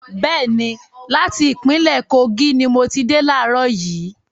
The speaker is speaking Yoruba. Bẹ́ẹ̀ni, láti ìpínlẹ́ Kogi ni mo ti dé laarọ̀ yìí